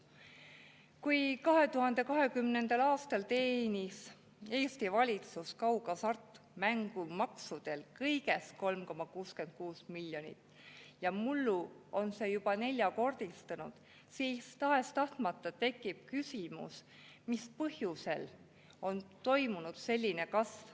Kui 2020. aastal teenis Eesti valitsus kaughasartmängumaksult kõigest 3,66 miljonit ja mullu see juba neljakordistus, siis tekib tahes-tahtmata küsimus, mis põhjusel on toimunud selline kasv.